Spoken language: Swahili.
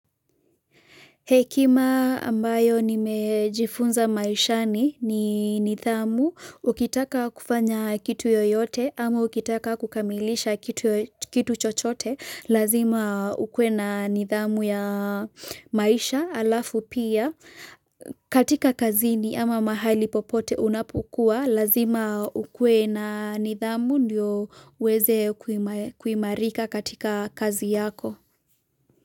Hekima ambayo nimejifunza maishani ni nidhamu, ukitaka kufanya kitu yoyote ama ukitaka kukamilisha kitu yoyote kitu chochote, lazima ukuwe na nidhamu ya maisha alafu pia katika kazini ama mahali popote unapokuwa, lazima ukuwe na nidhamu ndio uweze kuima kuimarika katika kazi yako.